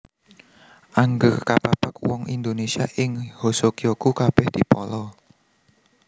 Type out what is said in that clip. Angger kapapag wong Indonesia ing Hoso Kyoku kabèh dipala